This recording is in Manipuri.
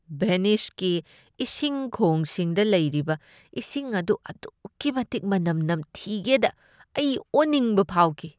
ꯚꯦꯅꯤꯁꯀꯤ ꯏꯁꯤꯡ ꯈꯣꯡꯁꯤꯡꯗ ꯂꯩꯔꯤꯕ ꯏꯁꯤꯡ ꯑꯗꯨ ꯑꯗꯨꯛꯀꯤ ꯃꯇꯤꯛ ꯃꯅꯝ ꯅꯝꯊꯤꯒꯦꯗ ꯑꯩ ꯑꯣꯅꯤꯡꯕ ꯐꯥꯎꯈꯤ꯫